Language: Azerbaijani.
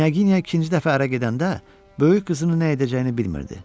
Knyaginya ikinci dəfə ərə gedəndə böyük qızını nə edəcəyini bilmirdi.